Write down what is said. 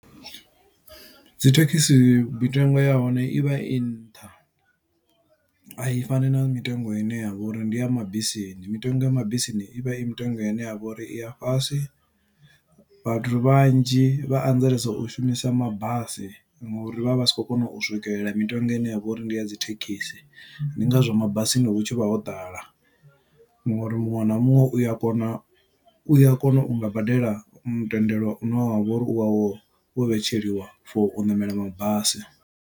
Dzi thekisi mitengo ya hone ivha i nṱha, a i fani na mitengo ine yavha uri ndi ya mabisini. Mitengo ya mabisini i vha i mitengo ine ya vha uri i ya fhasi, vhathu vhanzhi vha anzelesa u shumisa mabasi ngo uri vha vha vha si khou kona u swikelela mitengo ine ya vha uri ndi ya dzi thekhisi. Ndi ngazwo mabasini hutshivha ho ḓala, ngo uri muṅwe na muṅwe uya kona, u ya kona u nga badela mutendelo une wavha uri u vha wo vhetsheliwa for u ṋamela mabasi.